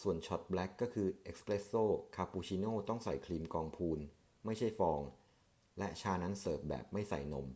ส่วนชอร์ตแบล็กก็คือ 'เอสเปรสโซ' คาปูชิโนต้องใส่ครีมกองพูน ไม่ใช่ฟอง และชานั้นเสิร์ฟแบบไม่ใส่นม